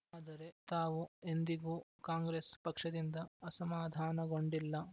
ಆದರೆ ತಾವು ಎಂದಿಗೂ ಕಾಂಗ್ರೆಸ್‌ ಪಕ್ಷದಿಂದ ಅಸಮಾಧಾನಗೊಂಡಿಲ್ಲ